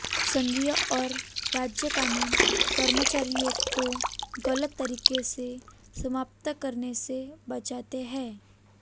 संघीय और राज्य कानून कर्मचारियों को गलत तरीके से समाप्त करने से बचाते हैं